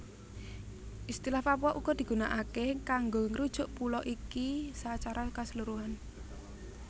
Istilah Papua uga digunaaké kanggo ngrujuk pulo iki sacara kaseluruhan